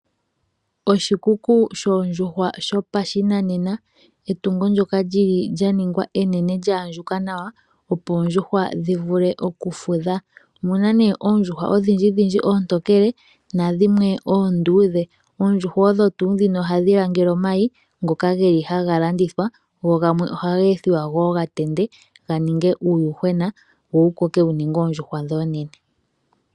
Oshikuku shoondjuhwa shopashinanena, etungo ndyoka lyili lyaningwa enene lyaandjuka nawa opo oondjuhwa dhivule okufudha, omuna nee oondjuhwa odhindjidhindji oontokele nadhimwe oonduudhe, oondjuhwa odho tuu dhino ohadhi langele omayi ngoka geli hagalandithwa go gamwe ohaga ethwa gatende ganinge uuyuhwena wo wukoke wuninge oondjuhwa oonene.